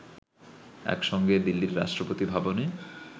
একসঙ্গে দিল্লির রাষ্ট্রপতি ভবনে